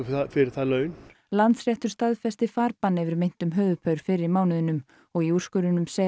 fyrir það laun Landsréttur staðfesti farbann yfir meintum höfuðpaur fyrr í mánuðinum og í úrskurðinum segja